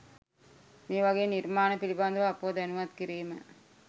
මේවගේ නිර්මාණ පිළිබඳව අපව දැනුවත් කිරීම